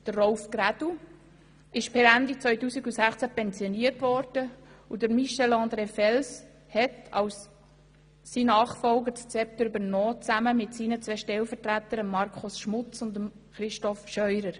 Rolf Grädel wurde per Ende 2016 pensioniert und Michel-André Fels hat als sein Nachfolger das Zepter übernommen, gemeinsam mit seinen Stellvertretern Markus Schmutz und Christof Scheurer.